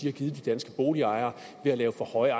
har givet de danske boligejere ved at lave for høje